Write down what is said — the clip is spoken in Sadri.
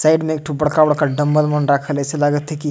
साइड में एक ठो बड़खा-बड़खा डंबल मन राखल है ऐसे लगात हे की--